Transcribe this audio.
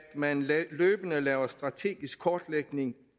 man løbende laver strategisk kortlægning